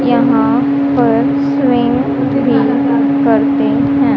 यहां पर स्विम भी करते हैं।